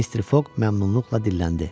Mister Foqq məmnunluqla dilləndi.